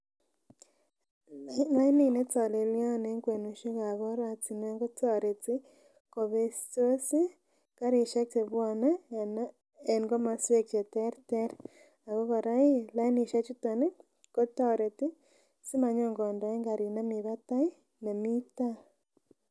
Lainit netolelyon en kwenusiekab oratinwek kotoreti kobestos ih karisiek chebwone en komoswek cheterter ako kora ih lainisiek chuton ih kotoreti simanyo kondoen karit nemii batai nemii taa